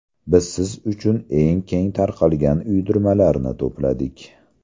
Biz siz uchun eng keng tarqalgan uydirmalarni to‘pladik.